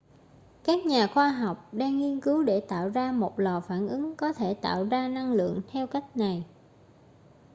các nhà khoa học đang nghiên cứu để tạo ra một lò phản ứng có thể tạo ra năng lượng theo cách này